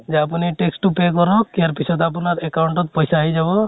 যে আপুনি tax তো pay কৰক, ইয়াৰ পিছত আপোনাৰ account ত পইছা আহি যাব